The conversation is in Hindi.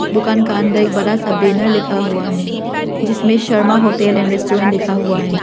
दुकान का अंदर एक बड़ा सा बैनर लिखा हुआ है जिसमें शर्मा होटल एंड रेस्टुरेंट लिखा हुआ है।